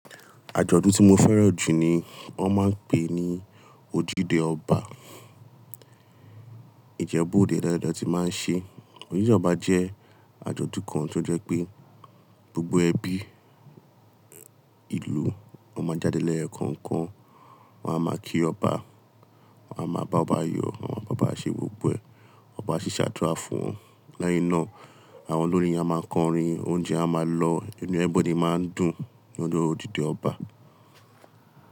Àjọ̀dún tí mo fẹ́ràn jù ni wọ́n máa ń pè ní Ojúde Ọba. Ìjẹ́bú òde dáadáa la tí máa ń ṣe. Ojúde Ọba jẹ́ àjọ̀dún kan tó jẹ́ pé gbogbo ẹbí, ìlú, wọ́n máa jáde lẹ́yo kan kan, wọ́n á máa kí Ọba, wọ́n á máa bá ọba yọ̀, wọ́n á máa bá ọba ṣe gbogbo ẹ̀, ọba a sì ṣàdúrà fún wọn. Lẹ́yìn náà, àwọn olórin a máa kọrin, oúnjẹ a máa lọ, inú everybody máa ń dùn ní ojo Ojúde Ọba.